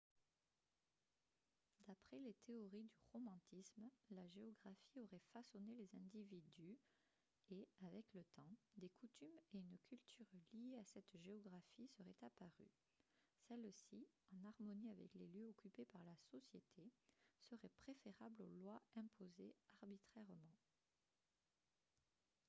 d'après les théories du romantisme la géographie aurait façonné les individus et avec le temps des coutumes et une culture liées à cette géographie seraient apparues celles-ci en harmonie avec les lieux occupés par la société seraient préférables aux lois imposées arbitrairement